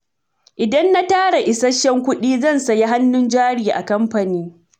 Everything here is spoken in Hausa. Idan na tara isasshen kuɗi, zan sayi hannun jari a kamfani.